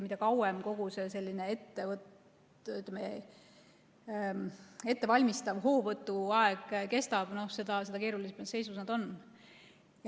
Mida kauem kogu see selline ettevalmistav hoovõtuaeg kestab, seda keerulisemas seisus nad on.